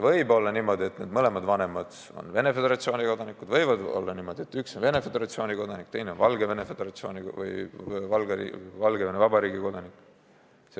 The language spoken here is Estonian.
Võib olla niimoodi, et mõlemad vanemad on Venemaa Föderatsiooni kodanikud, ja võib olla niimoodi, et üks on Venemaa Föderatsiooni kodanik, teine on Valgevene Vabariigi kodanik.